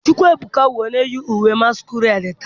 chukwuebuka bụ onye yi uwe masquerade taa.